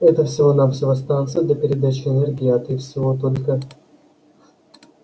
это всего-навсего станция для передачи энергии а ты всего только